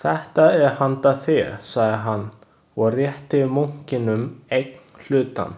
Þetta er handa þér, sagði hann, og rétti munkinum einn hlutann.